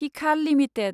हिखाल limited